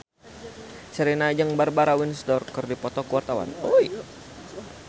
Sherina jeung Barbara Windsor keur dipoto ku wartawan